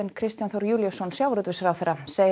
Kristján Þór Júlíusson sjávarútvegsráðherra segir að